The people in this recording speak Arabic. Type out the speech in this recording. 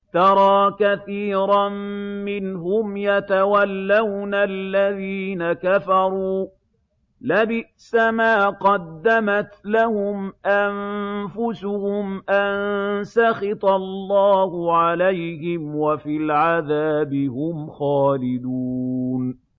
تَرَىٰ كَثِيرًا مِّنْهُمْ يَتَوَلَّوْنَ الَّذِينَ كَفَرُوا ۚ لَبِئْسَ مَا قَدَّمَتْ لَهُمْ أَنفُسُهُمْ أَن سَخِطَ اللَّهُ عَلَيْهِمْ وَفِي الْعَذَابِ هُمْ خَالِدُونَ